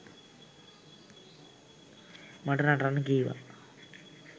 මට නටන්න කීවා